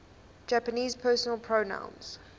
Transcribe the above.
japanese personal pronouns